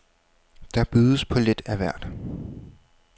Der bydes på lidt af hvert.